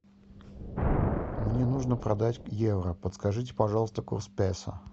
мне нужно продать евро подскажите пожалуйста курс песо